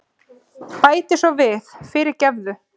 Bæti svo við, fyrirgefðu.